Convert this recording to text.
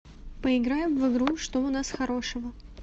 поиграем в игру что у нас хорошего